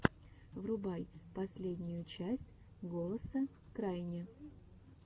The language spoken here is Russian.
врубай последнюю часть голоса крайни